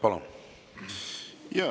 Palun!